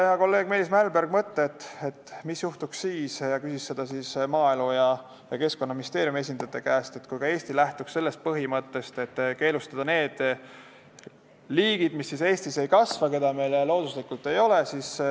Hea kolleeg Meelis Mälberg käis välja mõtte ning ka küsis Maaeluministeeriumi ja Keskkonnaministeeriumi esindajate käest, et mis juhtuks siis, kui ka Eesti lähtuks sellest põhimõttest, et tuleks keelustada need liigid, keda meil looduslikult ei ole.